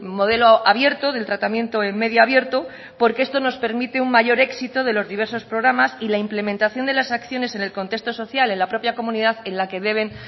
modelo abierto del tratamiento en medio abierto porque esto nos permite un mayor éxito de los diversos programas y la implementación de las acciones en el contexto social en la propia comunidad en la que deben